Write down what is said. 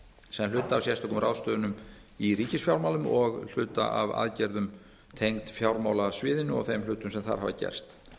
sem hluti af sérstökum ráðstöfunum í ríkisfjármálum og hluti af aðgerðum tengd fjármálasviðinu og þeim hlutum sem þar hafa gerst